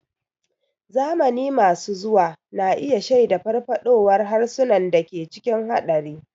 Zamani masu zuwa na iya shaida farfaɗowar harsunan da ke cikin haɗari.